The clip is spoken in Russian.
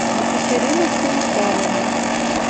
екатерина станиславовна